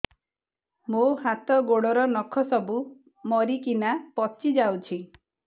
ମୋ ହାତ ଗୋଡର ନଖ ସବୁ ମରିକିନା ପଚି ଯାଉଛି